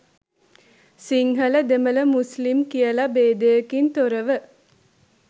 සිංහල දෙමළ මුස්ලිම් කියලා භේදයකින් තොරව